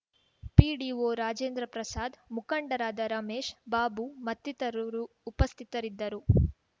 PDO Rajendraprasad ಮುಖಂಡರಾದ ರಮೇಶ್ ಬಾಬು ಮತ್ತಿತರರು ಉಪಸ್ಥಿತರಿದ್ದರು